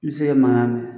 N bɛ se ka mankan mɛn